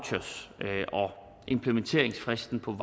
implementeringsfristen på